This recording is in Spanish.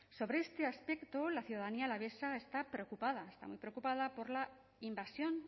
sobre este aspecto la ciudadanía alavesa está preocupada está muy preocupada por la invasión